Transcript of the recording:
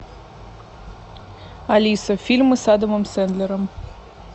алиса фильмы с адамом сэндлером